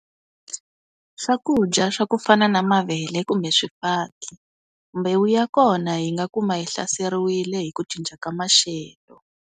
Swakudya swa ku fana na mavele kumbe swifaki, mbewu ya kona hi nga kuma yi hlaseriwile hi ku cinca ka maxelo.